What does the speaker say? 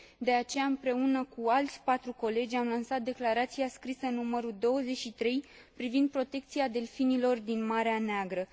De aceea, împreună cu alți 4 colegi am lansat declarația scrisă nr. 23 privind protecția delfinilor din Marea Neagră.